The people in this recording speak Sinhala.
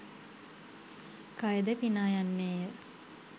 කයද පිනායන්නේය.